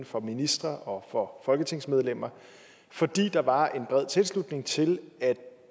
for ministre og for folketingsmedlemmer fordi der var en bred tilslutning til at